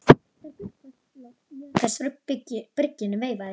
Þegar Gullfoss loks mjakaðist frá bryggjunni veifaði